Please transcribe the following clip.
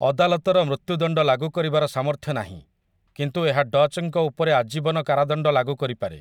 ଅଦାଲତର ମୃତ୍ୟୁଦଣ୍ଡ ଲାଗୁ କରିବାର ସାମର୍ଥ୍ୟ ନାହିଁ, କିନ୍ତୁ ଏହା ଡଚ୍‌ଙ୍କ ଉପରେ ଆଜୀବନ କାରାଦଣ୍ଡ ଲାଗୁ କରିପାରେ ।